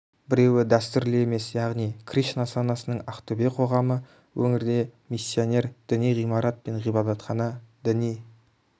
біреуі дәстүрлі емес яғни кришна санасының ақтөбе қоғамы өңірде миссионер діни ғимарат пен ғибадатхана діни